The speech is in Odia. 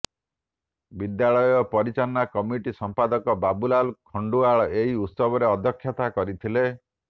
ବିଦ୍ୟାଳୟ ପରିଚାଳନା କମିଟିର ସମ୍ପାଦକ ବାବୁଲାଲ ଖଣ୍ଡୁଆଳ ଏହି ଉତ୍ସବରେ ଅଧ୍ୟକ୍ଷତା କରିଥିଲେ